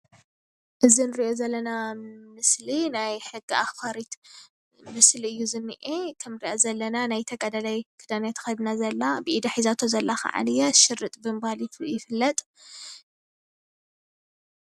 እዚ እንርእዮ ዘለና ምስሊ ናይ ሕጊ ኣክባሪት ምስሊ እዩ ዝንኤ እቲ ንርእዮ ዘለና ናይ ተጋዳላይ ክዳን እያ ተከዲና ዘላ ብኢዳ ሒዛቶ ዘላ ከዓንየ ሽርጥ ብምባል ይፍለጥ።